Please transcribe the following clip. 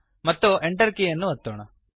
ಮತ್ತು Enter ಕೀಲಿಯನ್ನು ಒತ್ತೋಣ